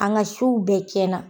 An ka sow bɛɛ tiɲɛn na.